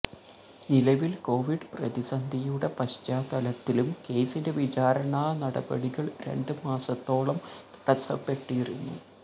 നിലവിൽ കൊവിഡ് പ്രതിസന്ധിയുടെ പശ്ചാത്തലത്തിലും കേസിന്റെ വിചാരണാ നടപടികൾ രണ്ട് മാസത്തോളം തടസ്സപ്പെട്ടിരുന്നു